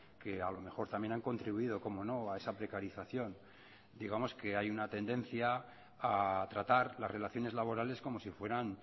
que a lo mejor también han contribuido cómo no a esa precarización digamos que hay una tendencia a tratar las relaciones laborales como si fueran